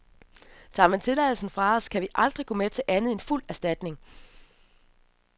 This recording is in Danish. Tager man tilladelsen fra os, kan vi aldrig gå med til andet end fuld erstatning.